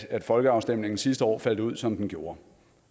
folkeafstemningen sidste år faldt ud som den gjorde